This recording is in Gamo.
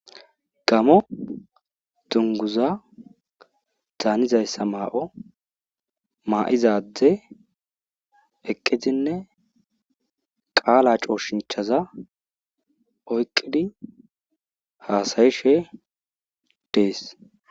Gamo dunguza danizaysa mayo mayida adaeyi eqidinne qala coshinchza oyqid hasa'ishe Desi.